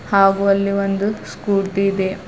ಹಾಗು ಅಲ್ಲಿ ಒಂದು ಸ್ಕೂಟಿ ಇದೆ.